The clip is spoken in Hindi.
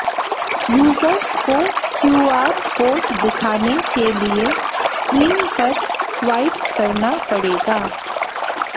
यूजर्स को क्यूआर कोड दिखाने के लिए स्क्रीन पर स्वाइप करना पड़ेगा